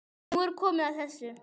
Nú er komið að þessu.